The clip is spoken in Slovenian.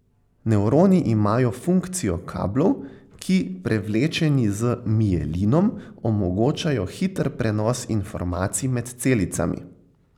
Nevroni imajo funkcijo kablov, ki, prevlečeni z mielinom, omogočajo hiter prenos informacij med celicami.